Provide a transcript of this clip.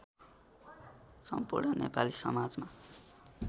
सम्पूर्ण नेपाली समाजमा